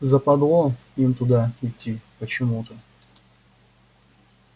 западло им туда идти почему-то